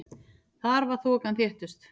Þar var þokan þéttust.